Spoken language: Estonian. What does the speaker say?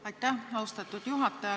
Aitäh, austatud juhataja!